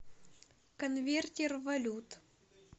конвертер валют